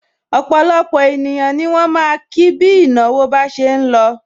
Opolopo ènìyàn ni wọn ma ki bi ìnáwó bá ṣe ń lọ.